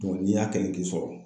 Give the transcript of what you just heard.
n'i y'a kɛ k'i sɔrɔ